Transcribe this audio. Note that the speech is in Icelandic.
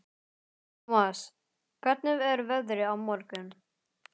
Thomas, hvernig er veðrið á morgun?